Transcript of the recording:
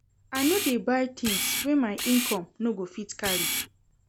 I no dey buy tins wey my income no go fit carry.